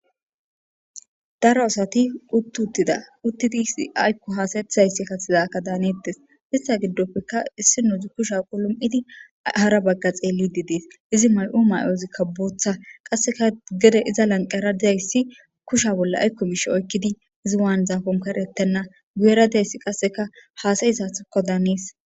Daro asati utti uttida uttidi isi aykko haasaethayssi kathidakka daanettes ista giddopfeka issi nuuzi kusha qulom'idi hara bagga xeelli didiis izi may'u may'ozikka booththa qasseka gede iza lanqara dizayssi kusha bolla aykko bishe oykkidi izi waan zaafon karettenna guyera dizayssi qasseka haasayi sathakko daanees.